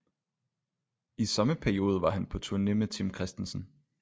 I samme periode var han på turné med tim christensen